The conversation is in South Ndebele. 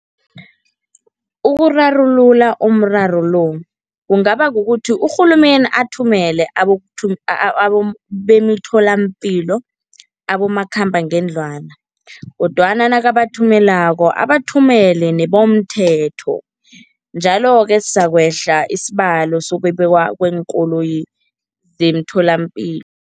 Ukurarulula umraro lo kungaba kukuthi urhulumeni athumele bemitholampilo abomakhambangendlwana kodwana nakabathumelako abathumele nebomthetho njalo-ke sizakwehla isibalo sokwebiwa kweenkoloyi zemtholampilo.